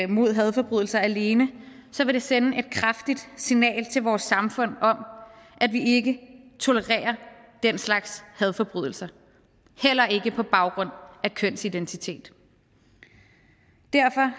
mod hadforbrydelser alene så vil det sende et kraftigt signal til vores samfund om at vi ikke tolererer den slags hadforbrydelser heller ikke på baggrund af kønsidentitet derfor